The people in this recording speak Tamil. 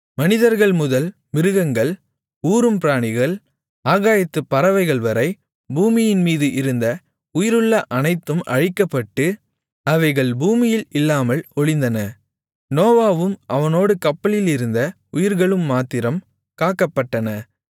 மனிதர்கள்முதல் மிருகங்கள் ஊரும் பிராணிகள் ஆகாயத்துப் பறவைகள்வரை பூமியின்மீது இருந்த உயிருள்ள அனைத்தும் அழிக்கப்பட்டு அவைகள் பூமியில் இல்லாமல் ஒழிந்தன நோவாவும் அவனோடு கப்பலிலிருந்த உயிர்களும் மாத்திரம் காக்கப்பட்டன